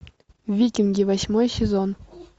викинги восьмой сезон